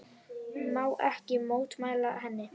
Má ekki mótmæla henni.